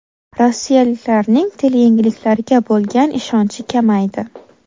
Rossiyaliklarning teleyangiliklarga bo‘lgan ishonchi kamaydi.